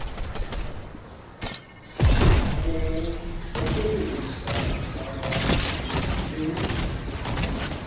mo hlokomedisa ka bobe le